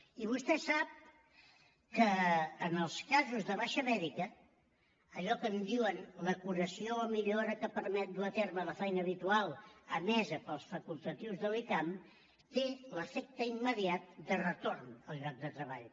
i vostè sap que en els casos de baixa mèdica allò que en diuen la curació o millora que permet dur a terme la feina habitual emesa pels facultatius de l’icam té l’efecte immediat de retorn al lloc de treball